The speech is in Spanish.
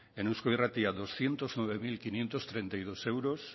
en eusko irratia doscientos nueve mil quinientos treinta y dos euros